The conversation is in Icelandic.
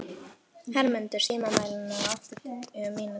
Hermundur, stilltu tímamælinn á áttatíu mínútur.